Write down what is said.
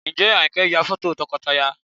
Ǹjẹ́ Àyìnkẹ́ ń ya fọ́tò tọkọtaya?